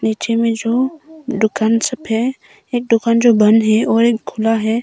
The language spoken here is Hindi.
नीचे में जो दुकान सब है एक दुकान जो बंद है और एक खुला है।